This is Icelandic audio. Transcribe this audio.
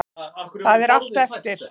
Það er allt eftir.